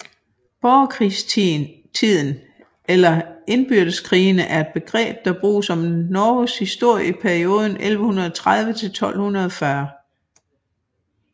Borgerkrigstiden eller indbyrdeskrigene er et begreb der bruges om Norges historie i perioden mellem 1130 og 1240